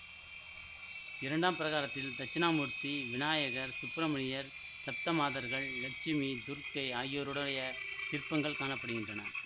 இரண்டாம் பிரகாரத்தில் தட்சிணாமூர்த்தி விநாயகர் சுப்பிரமணியர் சப்தமாதர்கள் லட்சுமி துர்க்கை ஆகியோருடைய சிற்பங்கள் காண படுகின்றன